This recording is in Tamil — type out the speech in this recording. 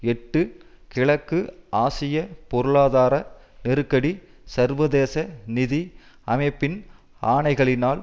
எட்டு கிழக்கு ஆசிய பொருளாதார நெருக்கடி சர்வதேச நிதி அமைப்பின் ஆணைகளினால்